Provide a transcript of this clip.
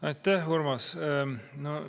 Aitäh, Urmas!